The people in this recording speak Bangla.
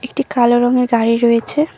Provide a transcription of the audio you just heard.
একটি কালো রঙের গাড়ি রয়েছে।